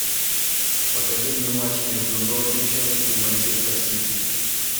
покажи мне матч между норвичем и манчестер сити